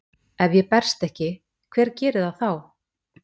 Ef ég berst ekki, hver gerir það þá?